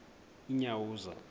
unyawuza